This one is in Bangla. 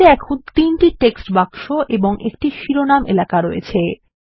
স্লাইডে এখন তিনটি টেক্সট বাক্স এবং একটি শিরোনাম এলাকা রয়েছে